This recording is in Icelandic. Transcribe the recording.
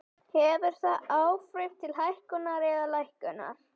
Hefur það áhrif til hækkunar eða lækkunar?